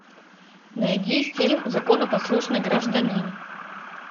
найди фильм законопослушный гражданин